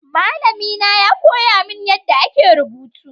Malami na ya koya mini yadda ake rubutu.